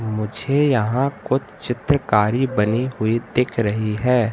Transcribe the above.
मुझे यहां कुछ चित्रकारी बनी हुई दिख रही है।